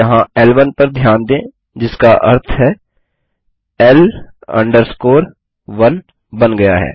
यहाँ ल1 पर ध्यान दें जिसका अर्थ है L 1 बन गया है